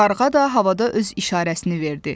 Qarğa da havada öz işarəsini verdi.